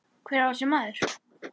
Hver var þessi maður?